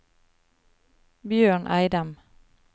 Bjørn Eidem